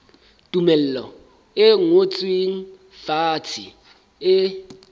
tumello e ngotsweng fatshe e